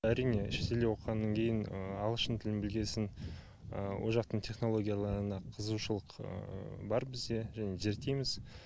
әрине шетелде оқығаннан кейін ағылшын тілін білген соң ол жақтың технологияларына қызығушылық бар бізде және зерттейміз